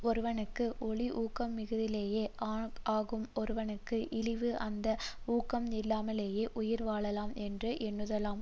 ஒருவனுக்கு ஒளி ஊக்கமிகுதியே ஆகும் ஒருவனுக்கு இழிவு அந்த ஊக்கம் இல்லாமலேயே உயிர்வாழலாம் என்று எண்ணுதலாம்